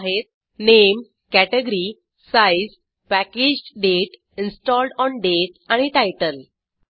ते आहेत नाव वर्ग आकार पॅकेज तारीख इंस्टॉलेशन केल्याची तारीख आणि शीर्षक